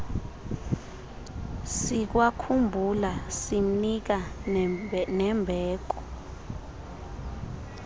sikwakhumbula simnika nembeko